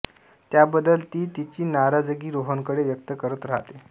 त्या बद्दल ती तिची नाराजगी रोहनकडे व्यक्त करत राहते